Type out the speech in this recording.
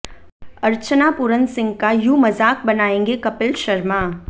अर्चना पूरन सिंह का यूं मजाक बनाएंगे कपिल शर्मा